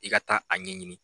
I ka taa a ɲɛ ɲini